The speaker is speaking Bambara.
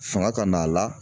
Fanga ka n'a la.